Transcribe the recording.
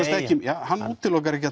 hann útilokar ekki